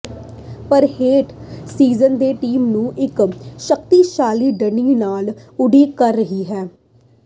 ਪਰ ਹੇਠ ਸੀਜ਼ਨ ਦੇ ਟੀਮ ਨੂੰ ਇੱਕ ਸ਼ਕਤੀਸ਼ਾਲੀ ਢਹਿ ਲਈ ਉਡੀਕ ਕਰ ਰਿਹਾ ਹੈ